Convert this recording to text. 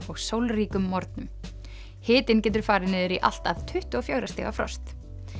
og sólríkum morgnum hitinn getur farið niður í allt að tuttugu og fjögurra stiga frosti